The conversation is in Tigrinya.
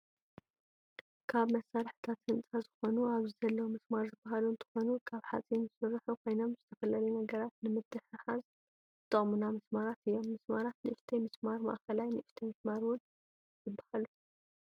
ካብ መሳረሒታት ህንፃ ዝኮኑ ኣብዚ ዘለው ምስማር ዝባሃሉ እንትኮኑ ካብ ሓፂን ዝተሰርሑ ኮይኖም ዝተፈላለዩ ነገራት ንምትትሓሓዝ ዝጠቅሙና መስማራት እዮም ፤ ምስማራት ንእሽተይ ምስማር፣ ማእከላይ ፣ንእሽተይ ምስማር እውን ይበሃሉ።